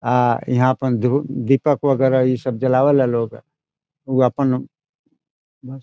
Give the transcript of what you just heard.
आ यहाँ अपने दुब दीपक वगेरा ईसब जलावेला लोग | उ अपन उ --